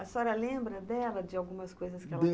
A senhora lembra dela, de algumas coisas que ela